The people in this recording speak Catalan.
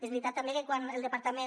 és veritat també que quan el departament